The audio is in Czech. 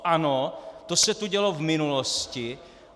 Ano, to se tu dělo v minulosti.